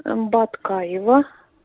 баткаева